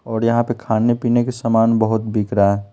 और यहाँ पे खाने-पीने के सामान बहुत बिक रहा है।